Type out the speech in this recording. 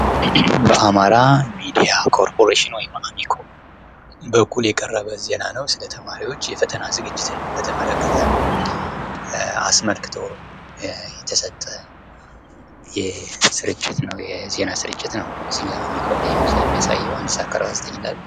አማራ ሚዲያ ኮርፖሬሽን በኩል የቀረበ ዜና ነው :: ስለ ተማሪዎች የፈተና ዝግጅት አስመልክቶ የተሰጠ የዜና ሥርጭ ዝግጅት ነው እዚህ አሚኮ ላይ የሚያሳየው አንድ ስዓት ከ አርባ ዘጠኝ ይላል::